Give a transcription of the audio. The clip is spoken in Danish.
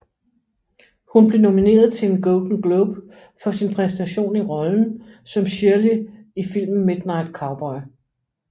Hun blev nomineret til en Golden Globe for sin præstation i rollen som Shirley i filmen Midnight Cowboy